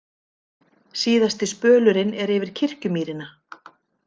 Síðasti spölurinn er yfir Kirkjumýrina.